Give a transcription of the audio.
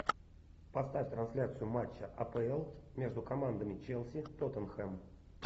поставь трансляцию матча апл между командами челси тоттенхэм